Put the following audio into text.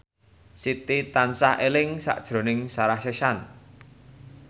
Siti tansah eling sakjroning Sarah Sechan